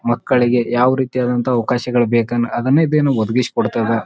ಮಕ್ಕಳಿಗೆ ಯಾವ್ ರೀತಿಯಾದಂತ ಅವ್ಕಾಶಗಳು ಬೇಕನ್ ಅದನ್ನೇದ್ದೇನು ಒದಗಿಸಿ ಕೊಡ್ತದ .